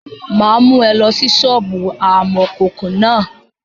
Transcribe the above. Mà á mú ẹ lọ sí sọ́ọ̀bù amọ̀kòkò náà.